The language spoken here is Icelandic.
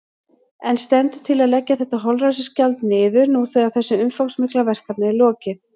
En stendur til að leggja þetta holræsagjald niður nú þegar þessu umfangsmikla verkefni er lokið?